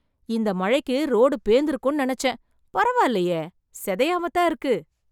இந்த மழைக்கு ரோடு பேந்திருக்கும்னு நெனைச்சேன். பரவாயில்லையே.. சிதையாமத் தான் இருக்கு.